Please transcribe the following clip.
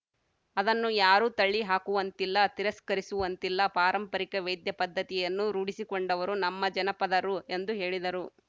ಅದನ್ನು ಯಾರೂ ತಳ್ಳಿ ಹಾಕುವಂತಿಲ್ಲ ತಿರಸ್ಕರಿಸುವಂತಿಲ್ಲ ಪಾರಂಪರಿಕ ವೈದ್ಯ ಪದ್ಧತಿಯನ್ನು ರೂಢಿಸಿಕೊಂಡವರು ನಮ್ಮ ಜನಪದರು ಎಂದು ಹೇಳಿದರು